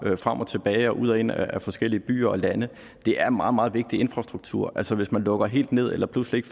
frem og tilbage og ud og ind af forskellige byer og lande det er meget meget vigtig infrastruktur altså hvis man lukker helt ned eller pludselig